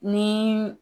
Ni